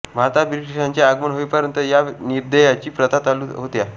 भारतात ब्रिटीशांचे आगमन होईपर्यंत या निर्दयी प्रथा चालूच होत्या